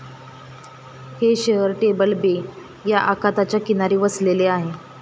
हे शहर Table Bay या आखाताच्या किनारी वसलेले आहे.